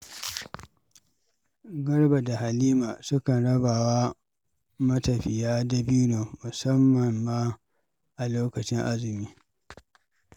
Garba da Halima sukan raba wa matafiya dabino, musammam ma a lokacin azumi.